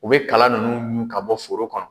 U be kala nunnu ɲu ka bɔ foro kɔnɔ.